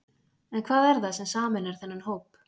En hvað er það sem sameinar þennan hóp?